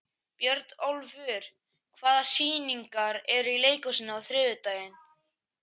Björnólfur, hvaða sýningar eru í leikhúsinu á þriðjudaginn?